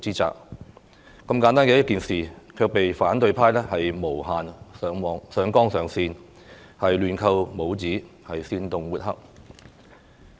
這麼簡單的一件事，卻被反對派無限上綱上線，亂扣帽子，煽動抹黑。